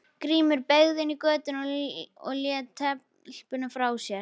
Grímur beygði inn í götuna og lét telpuna frá sér.